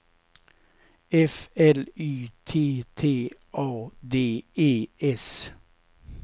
F L Y T T A D E S